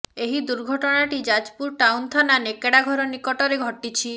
ଏହି ଦୁର୍ଘଟଣାଟି ଯାଜପୁର ଟାଉନ ଥାନା ନେକଡାଘର ନିକଟରେ ଘଟିଛି